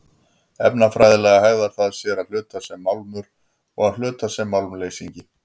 Efnafræðilega hegðar það sér að hluta sem málmur og að hluta sem málmleysingi.